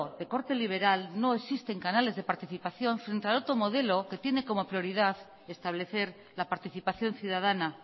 de corte liberal no existen canales de participación frente al otro modelo que tiene como prioridad establecer la participación ciudadana